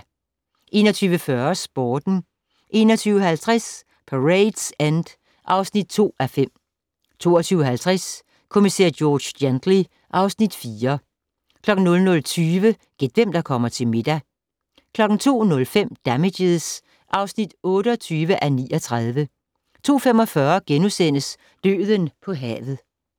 21:40: Sporten 21:50: Parade's End (2:5) 22:50: Kommissær George Gently (Afs. 4) 00:20: Gæt hvem der kommer til middag 02:05: Damages (28:39) 02:45: Døden på havet *